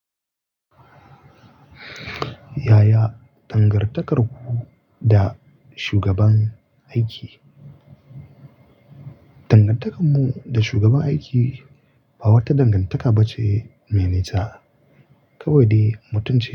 Yaya dangantakarku da shugaban aiki? Dangantakar mu da shugaban aiki ba wata dangantaka ba ce mai nisa. Kawai dai mutum ce.